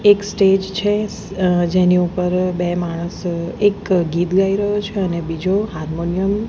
એક સ્ટેજ છે અ જેની ઉપર બે માણસો એક ગીત ગાઈ રહ્યો છે અને બીજો હારમોનિયમ --